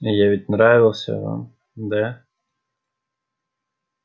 я ведь нравился вам да